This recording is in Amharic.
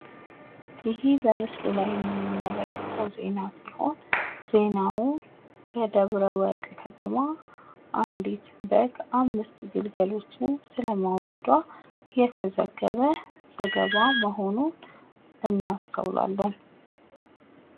ይህ በምስሉ ላይ የምትመለከቱት ዜና ሲሆን ፤ ዜናውም በደብረወርቅ ከተማ አንዲት በግ አምስት ግልገል መውለድን የተመለከተ መሆኑን እናስተውላለን።